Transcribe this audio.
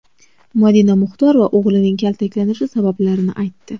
Madina Muxtorova o‘g‘lining kaltaklanishi sabablarini aytdi .